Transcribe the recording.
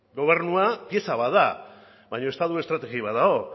gobernua pieza bat da baina estatu estrategi bat dago